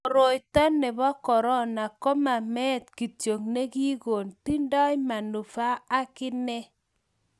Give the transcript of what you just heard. koroito nebo korona ko ma met kityo ni kiko gon tindai manufa akine